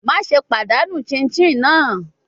Maṣe padanu chinchin naa